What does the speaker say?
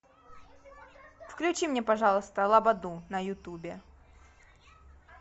включи мне пожалуйста лободу на ютубе